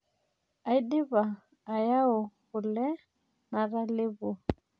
Aidipa ayau kule natalepuo.